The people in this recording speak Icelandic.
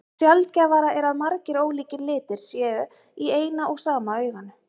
Sjaldgæfara er að margir ólíkir litir séu í eina og sama auganu.